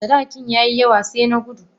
sadakin yayi yawa sai na gudu.